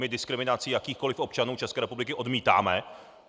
My diskriminaci jakýchkoli občanů České republiky odmítáme!